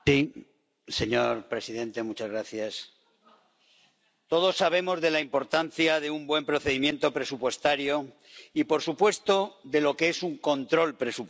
Señor presidente, todos sabemos de la importancia de un buen procedimiento presupuestario y, por supuesto, de lo que es un control presupuestario.